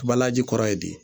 Kabalaji kɔrɔ ye di